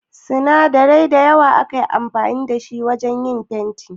Sinadarai da yawa ake amfani da ita wajan yin fenti